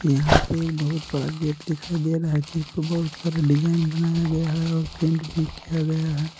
यहां पे बहुत बड़ा गेट दिखाई दे रहा है जिसपे बहुत सारे डिजाइन बनाया गया है और पेंट भी किया गया है ।